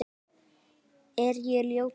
Er ég ljótur?